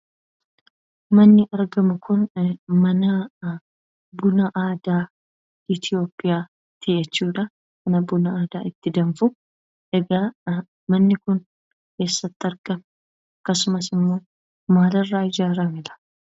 Manni argamu kun manaa buna aadaa Itiyoophiyaati jechuudha. Mana buna aadaa itti danfuu ,egaa manni kun eessatti argama? Akkasumas immoo maalirraa ijaarame laa?